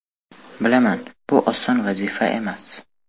Bilaman, bu oson vazifa emas.